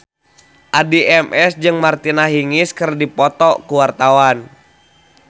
Addie MS jeung Martina Hingis keur dipoto ku wartawan